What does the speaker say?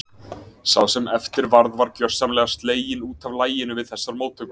Sá sem eftir varð var gjörsamlega sleginn út af laginu við þessar móttökur.